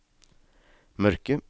mørke